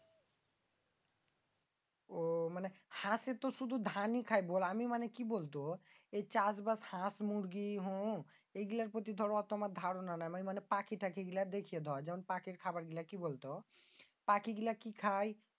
আহ মানি হাঁস তো শুধু ধানই খায় বল। আমি মানি কি বলব? এই চাষবাস হাঁস মুরগী হম এগুলার প্রতি দর আমার এত ধারণা নাই। মানি পাখি গিলা দেখে দর খাবার গুলা কি বলত? পাখি গুলা কি খায়?